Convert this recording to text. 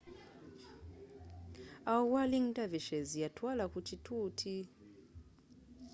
awo whirling dervishes yatwaala ku kituuti